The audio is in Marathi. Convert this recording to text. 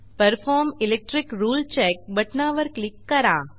परफॉर्म इलेक्ट्रिक रुळे चेक बटणावर क्लिक करा